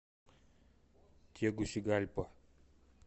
тегусигальпа